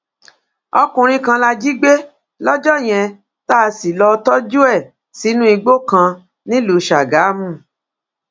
ọkùnrin kan la jí gbé lọjọ yẹn tá a sì lọọ tọjú ẹ sínú igbó kan nílùú sàgámù